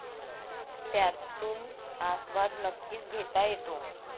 त्यातून आस्वाद नक्कीच घेता येतो!